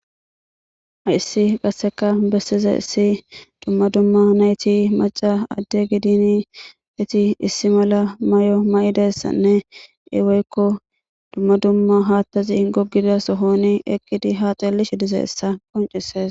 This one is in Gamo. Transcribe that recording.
Hayssi qasseka bessizayssi dzumma dzumma naythi macca adde gidinii ethi issi mala may7o ma7idayssanne ee woykko dzumma dzumma haaththazi goggida sohoonii eqqidi haa xellishe dizayssa qonccissees.